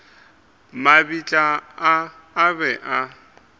mabitla a a be a